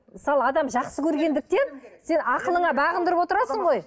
мысалы адам жақсы көргендіктен сен ақылыңа бағындырып отырасың ғой